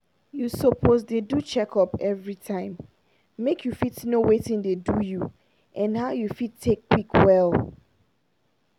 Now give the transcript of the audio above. you suppose dey do checkup everytime make you fit know watin dey do you and how you fit take quick well.